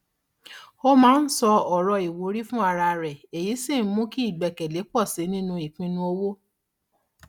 ó máa ń sọ ọrọ ìwúrí fún ara rẹ èyí sì ń mú ìgbẹkẹlé pọ sí i nínú ìpinnu owó